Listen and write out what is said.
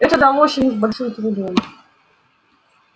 это далось им с большим трудом